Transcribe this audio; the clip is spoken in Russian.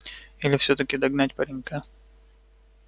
или всё-таки догнать паренька